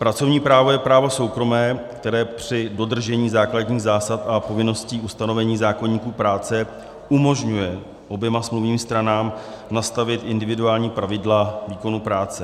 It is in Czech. Pracovní právo je právo soukromé, které při dodržení základních zásad a povinností ustanovení zákoníku práce umožňuje oběma smluvním stranám nastavit individuální pravidla výkonu práce.